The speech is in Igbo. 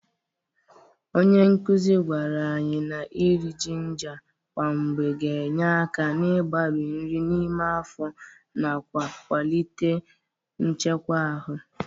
Onye nkụzị gwara anyị na iri jinga kwa mgbe ga-enye aka n'ịgbarị nri n'ime afọ nakwa ịkwalite nchekwa ahụ.